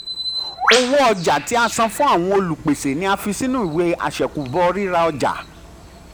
owo ọja ti a san fun um awọn olupese ni a fi sinu um iwe àṣẹ̀kùbọ̀ rira ọja.